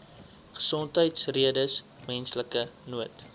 gesondheidsredes menslike nood